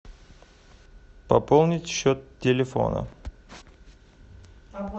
пополнить счет телефона